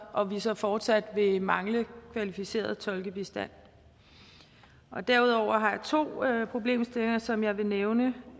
og vi så fortsat vil mangle kvalificeret tolkebistand derudover har jeg to problemstillinger som jeg vil nævne